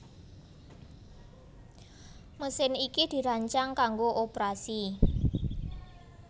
Mesin iki dirancang kanggo oprasi